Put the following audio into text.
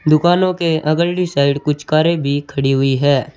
दुकानो के अगली साइड कुछ कारे भी खड़ी हुई है।